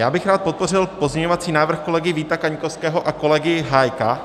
Já bych rád podpořil pozměňovací návrh kolegy Víta Kaňkovského a kolegy Hájka.